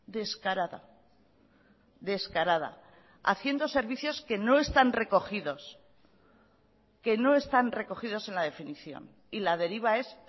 descarada descarada haciendo servicios que no están recogidos que no están recogidos en la definición y la deriva es